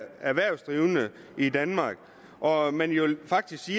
erhvervsdrivende i danmark og at man jo faktisk